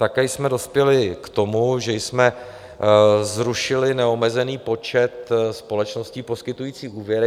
Také jsme dospěli k tomu, že jsme zrušili neomezený počet společností poskytujících úvěry.